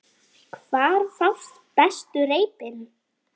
Hvar fást bestu reipin?